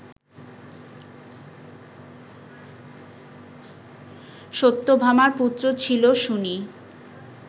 সত্যভামার পুত্র ছিল শুনি